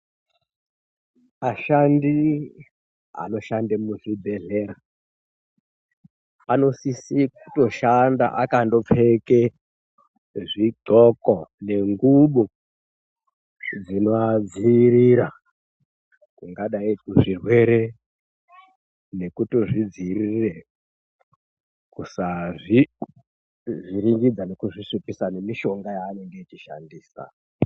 Ashandi anoshande muzvibhedhlera, anosise kutoshanda akandopfeke zvindxoko nengubo dzinoadziirira kungadai kuzvirwere nekutozvi dziirire kusazvi vhiringidza nekuzvi svipisa nemishonga yaanenge echishandisa.